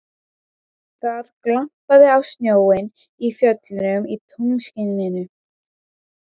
Það glampaði á snjóinn í fjöllunum í tunglskininu.